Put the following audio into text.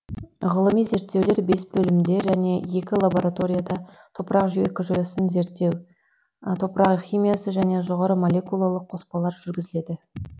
ғылыми зерттеулер бес бөлімде және екі лабораторияда топырақ экожүйесін зерттеу топырақ химиясы және жоғары молекулалы қоспалар жүргізіледі